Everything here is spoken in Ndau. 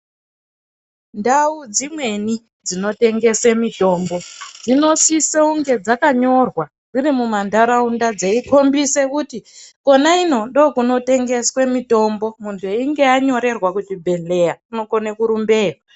Ndau dzimweni dzinotengese mutombo dzinosisa kunge dzakanyorwa dziri mumandaraunda dzeikombise kuti Kona ino ndokunotengeswe mitombo munzeinge anyorerwa kuzvibhedhleya unokone kurumbeya